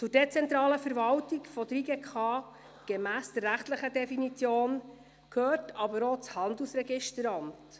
Zur dezentralen Verwaltung der JGK, gemäss der rechtlichen Definition, gehört aber auch das Handelsregisteramt.